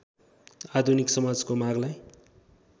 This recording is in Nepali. आधुनिक समाजको मागलाई